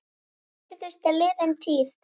Það virðist liðin tíð.